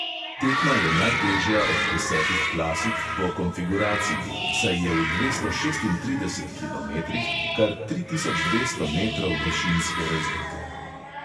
Tekma je najtežja od desetih klasik po konfiguraciji, saj je v dvesto šestintrideset kilometrih kar tri tisoč dvesto metrov višinske razlike.